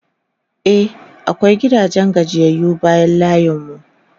e akwai gidan gajiyayyu bayan layin mu